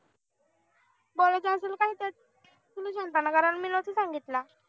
बोलायचं असेल काय त्यात तुला शहाणपणा करायला मी नव्हता सांगितला